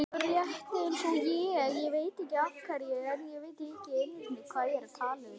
Rétt eins og ég.